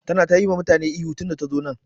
Tana ta yi wa mutane ihu tun da ta zo nan.